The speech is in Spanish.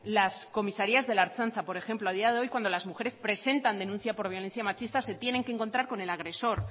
las comisarías de la ertzaintza por ejemplo a día de hoy cuando las mujeres presentan denuncias por violencia machista se tienen que encontrar con el agresor